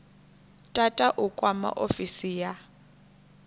tata u kwama ofisi ya